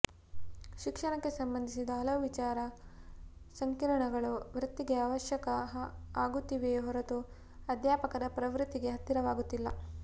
ಶಿಕ್ಷಣಕ್ಕೆ ಸಂಬಂಧಿಸಿದ ಹಲವು ವಿಚಾರ ಸಂಕಿರಣಗಳು ವೃತ್ತಿಗೆ ಅವಶ್ಯಕ ಆಗುತ್ತಿವೆಯೇ ಹೊರತು ಅಧ್ಯಾಪಕರ ಪ್ರವೃತ್ತಿಗೆ ಹತ್ತಿರವಾಗುತ್ತಿಲ್ಲ